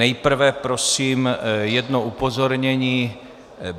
Nejprve prosím jedno upozornění.